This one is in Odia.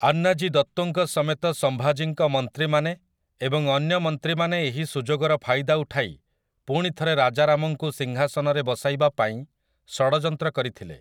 ଆନ୍ନାଜୀ ଦତ୍ତୋଙ୍କ ସମେତ ସମ୍ଭାଜୀଙ୍କ ମନ୍ତ୍ରୀମାନେ ଏବଂ ଅନ୍ୟ ମନ୍ତ୍ରୀମାନେ ଏହି ସୁଯୋଗର ଫାଇଦା ଉଠାଇ ପୁଣି ଥରେ ରାଜାରାମଙ୍କୁ ସିଂହାସନରେ ବସାଇବା ପାଇଁ ଷଡ଼ଯନ୍ତ୍ର କରିଥିଲେ ।